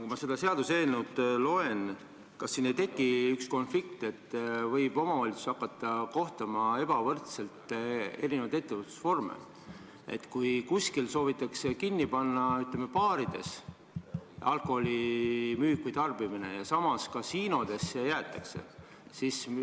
Kui ma seda seaduseelnõu loen, siis tekib mul küsimus, kas siin ei teki konflikt, et omavalitsus võib hakata eri ettevõtlusvorme ebavõrdselt kohtlema, kui kuskil soovitakse kaotada, ütleme, baarides alkoholi müümine või tarbimine, aga samas kasiinodes jäetakse see võimalus alles.